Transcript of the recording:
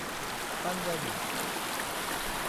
Punjabi